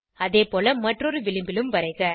அதேபோல மற்றொரு விளிம்பிலும் வரைக